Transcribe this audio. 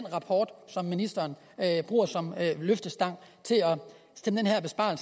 rapport som ministeren bruger som løftestang